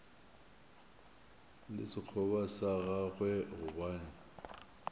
le sekgoba sa gagwe gobane